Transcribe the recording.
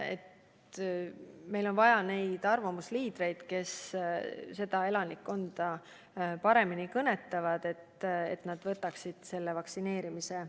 Meil on vaja arvamusliidreid, kes sealset elanikkonda paremini kõnetavad, et nad otsustaksid lasta end vaktsineerida.